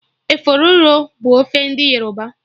Efọriro bụ ofe ndị Yoruba